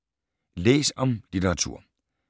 Læs om litteratur